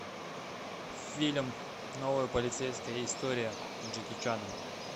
фильм новая полицейская история с джеки чаном